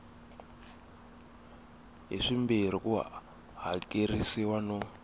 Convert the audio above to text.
hi swimbirhi ku hakerisiwa no